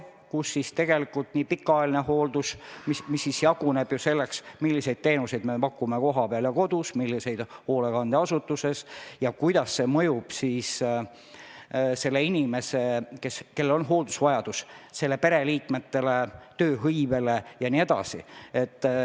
Sinna alla käib ka pikaajaline hooldus, mis jaguneb selleks, milliseid teenuseid me pakume kohapeal ja kodus, milliseid hoolekandeasutuses ning kuidas see mõjub hooldusvajadusega inimese pereliikmetele, tööhõivele jne.